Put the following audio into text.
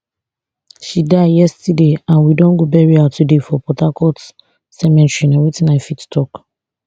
she die yesterday and we don go bury her today for port harcourt cemetery na wetin i fit tok